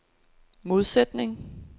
modsætning